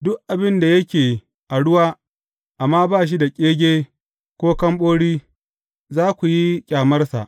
Duk abin da yake a ruwa amma ba shi da ƙege ko kamɓori, za ku yi ƙyamarsa.